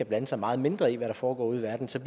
blande sig meget mindre i hvad der foregår ude i verden så